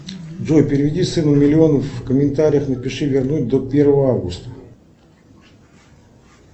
джой переведи сыну миллион в комментариях напиши вернуть до первого августа